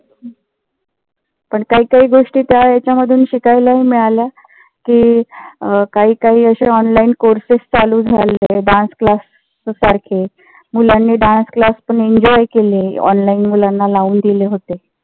पण काही काही गोष्टी त्या ह्याच्या मध्ये शिकायलाही मिळाल्या कि अं काही काही अशे online courses चालू झाले. dance class सारखे, मुलांनी dance class enjoy केले. online मुलांना लावून दिले होते.